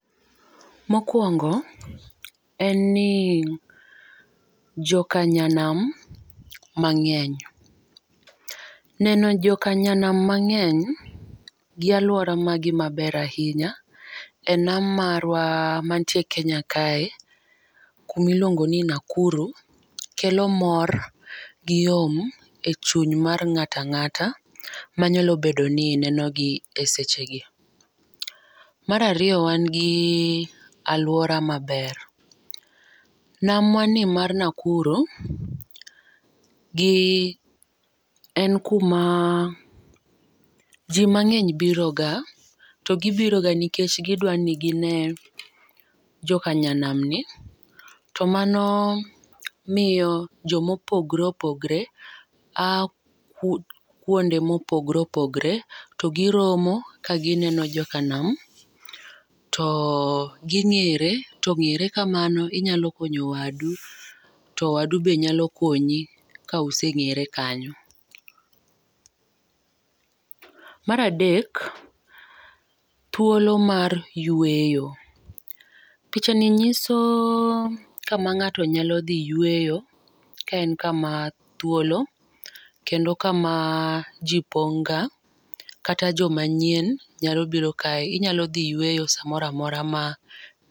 Mokuong en ni jokanyanam mang'eny neno jok nyanam mang'eny gi aluora ma ber ainya e nam marwa ma e kenya kae mi liluongio ni Nakuru, kelo mor gi yom e chuny mar ng'ato ka ng'ato nyalo bedo ni neno gi e seche gi. Mar ariyo mae gi aluora ma ber. Nam wa ni mar Nakuru gi en kuma ji mang'eny biro ga to gi biro ga nikech gi dwa ni gi ne jokanyanam ni to mano miyo jo mo opogre opogre ya kuonde ma opogore opogore to gi romo ka gi neno jokanam to gi ngere to ngere kamano inyalo konyo wadu to wadu be nyalo konyi ka usengere kanyo. Mar adek, thuolo mar yueoyo picha ni ng'iso kama ng'ato nyalo dhi yueyo ka en ka ma thuolo kendo ka ma ji pong ga kata jo ma nyien nyalo biro kae inyalo dhi yueyo sa moro amora ma.